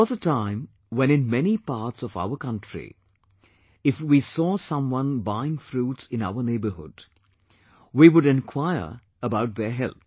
There was a time when in many parts of our country, if we saw someone buying fruits in our neighbourhood, we would enquire about their health